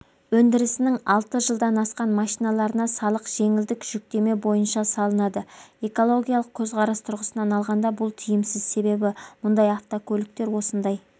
өндірісінің алты жылдан асқан машиналарына салық жеңілдік жүктеме бойынша салынады экологиялық көзқарас тұрғысынан алғанда бұл тиімсіз себебі мұндай автокөліктер осындай